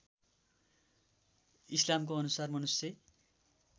इस्लामको अनुसार मनुष्य